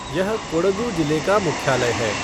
यह कोडगु जिले का मुख्यालय है।